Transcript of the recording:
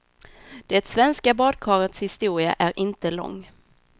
Det svenska badkarets historia är inte lång.